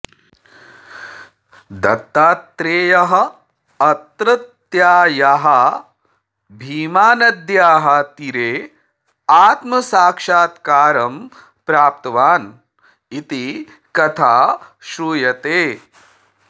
दत्तात्रेयः अत्रत्यायाः भीमानद्याः तीरे आत्मसाक्षात्कारं प्राप्तवान् इति कथा श्रूयते